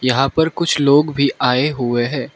यहां पर कुछ लोग भी आए हुए हैं।